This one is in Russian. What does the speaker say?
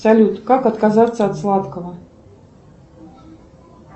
салют как отказаться от сладкого